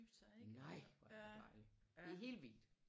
Nej hvor er det dejligt det er helt vildt